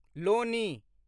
Loni